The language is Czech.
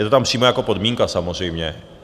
Je to tam přímo jako podmínka samozřejmě.